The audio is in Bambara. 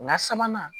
Nka sabanan